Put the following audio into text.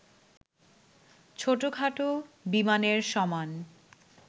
ছোটখাটো বিমানের সমান